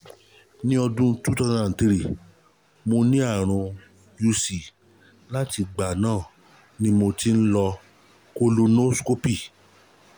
ní ọdún cs] two thousand and three mo ní àrùn uc láti ìgbà náà ni mo ti ń lo colonoscopy